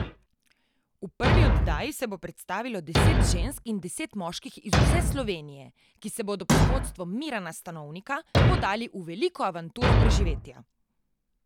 V prvi oddaji se bo predstavilo deset žensk in deset moških iz vse Slovenije, ki se bodo pod vodstvom Mirana Stanovnika podali v veliko avanturo preživetja.